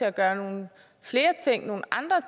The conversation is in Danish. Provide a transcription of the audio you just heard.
at gøre nogle flere ting nogle andre